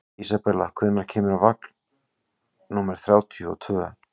Isabella, hvenær kemur vagn númer þrjátíu og tvö?